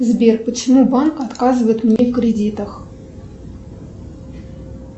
сбер почему банк отказывает мне в кредитах